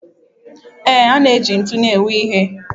Ee, a na-eji ntun u na-ewu ihe.